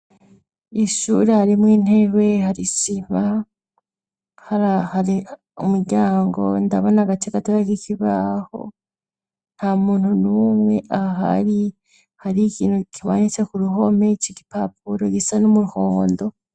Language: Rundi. Ishuri harimwo intebe, hari isima, hari umuryango ndabona agace gatoya kikibaho nta muntu numwe ahari hari ikintu kimanitse ku ruhome c'igipapuro gisa numuhondo.